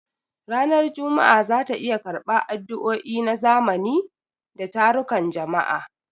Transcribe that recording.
Ranar Juma'a za ta iya karɓar addu'o'i na zamani da tarukan jama'a.